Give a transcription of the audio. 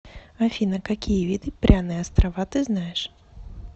афина какие виды пряные острова ты знаешь